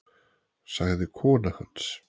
sagði kona hans.